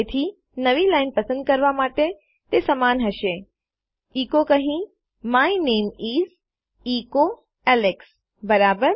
તેથી નવી લાઇન પસંદ કરવા માટે તે સમાન હશે ઇકો કહી my name is echo Alex બરાબર